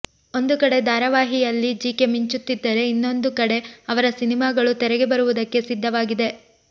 ಒಂದು ಕಡೆ ಧಾರವಾಹಿಯಲ್ಲಿ ಜೆಕೆ ಮಿಂಚುತ್ತಿದ್ದರೆ ಇನ್ನೊಂದು ಕಡೆ ಅವರ ಸಿನಿಮಾಗಳು ತೆರೆಗೆ ಬರುವುದಕ್ಕೆ ಸಿದ್ಧವಾಗಿದೆ